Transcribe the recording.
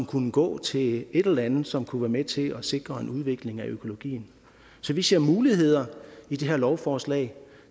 kunne gå til et eller andet som kunne være med til sikre en udvikling af økologien så vi ser muligheder i det her lovforslag